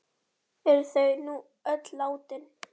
Eru þau nú öll látin.